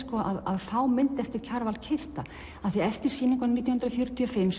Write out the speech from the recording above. að fá mynd eftir Kjarval keypta því eftir sýninguna nítján hundruð fjörutíu og fimm